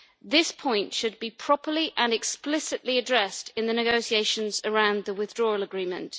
This point should be properly and explicitly addressed in the negotiations around the withdrawal agreement.